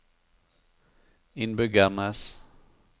innbyggernes